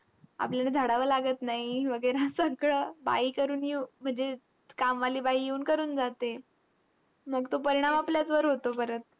आपल्याला झाडावं लागत नाही वगैरा सगळं बाई करून येऊ म्हणजे कामवाली बाई येऊन करून जाते. मंग तो परिणाम आपल्यावरच होतो परत.